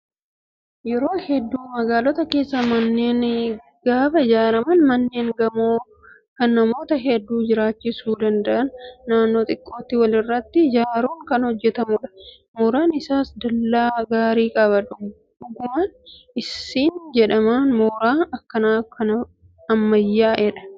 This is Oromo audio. Yeroo hedduu magaalota keessatti manneen gaafa ijaaraman manneen gamoo kan namoota hedduu jiraachisuu danda'an naannoo xiqqootti walirratti ijaaruun kan hojjatamudha. Mooraan isaas dallaa gaarii qaba. Dhuguman siin jedhaa mooraan akkanaa kan ammayyaa'edha.